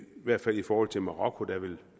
hvert fald i forhold til marokko der ville